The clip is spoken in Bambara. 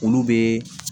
Olu bɛ